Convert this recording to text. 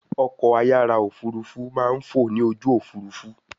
Ọkọ̀-ayára òfurufú máa ń fọ ní ojú òfurufú